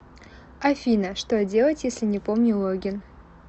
афина что делать если не помню логин